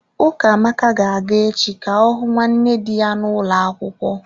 Ukamaka ga-aga echi ka ọ hụ nwanne dị ya n'ulo akwukwo.